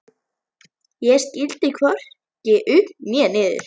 Ég skildi hvorki upp né niður.